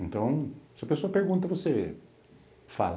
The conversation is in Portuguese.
Então, se a pessoa pergunta, você fala.